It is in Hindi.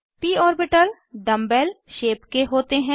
प orbitals dumb bell dumbbell shape के होते हैं